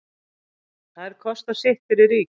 Þær kosta sitt fyrir ríkið.